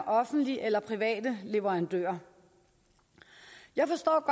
offentlige eller private leverandører jeg forstår